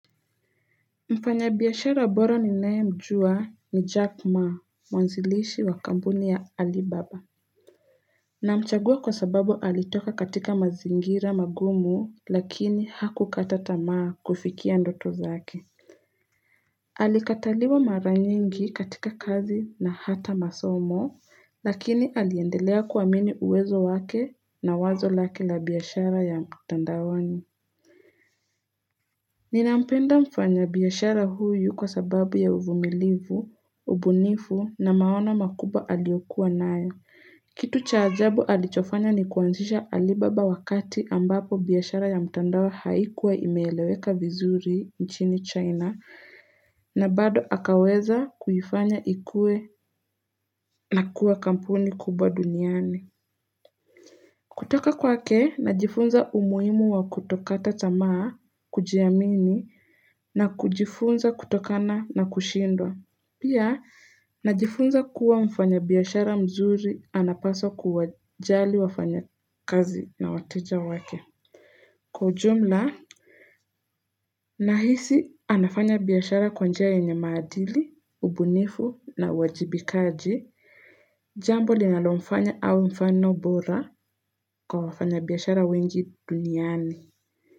Mfanyabiashara bora ninae mjua ni Jack ma mwanzilishi wa kampuni ya Alibaba Namchagua kwa sababu alitoka katika mazingira magumu lakini hakukata tamaa kufikia ndoto zake Alikataliwa mara nyingi katika kazi na hata masomo lakini aliendelea kuamini uwezo wake na wazo lake la biashara ya mtandaoni Ninampenda mfanyabiashara huyu kwa sababu ya uvumilivu, ubunifu na maono makubwa aliokuwa nayo. Kitu cha ajabu alichofanya ni kuanzisha alibaba wakati ambapo biashara ya mtandao haikuwa imeeleweka vizuri nchini China na bado akaweza kuifanya ikue na kua kampuni kubwa duniani. Kutoka kwake, najifunza umuhimu wa kutokata tamaa, kujiamini, na kujifunza kutokana na kushindwa. Pia, najifunza kuwa mfanyabiashara mzuri anapaswa kuwajali wafanyakazi na wateja wake. Kwa ujumla, nahisi anafanya biashara kwa njia yenye maadili, ubunifu na uwajibikaji, jambo linalomfanya awe mfano bora kwa wafanyabiashara wengi duniani.